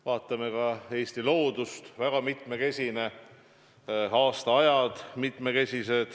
Vaatame Eesti loodust – väga mitmekesine, erinevad aastaajad.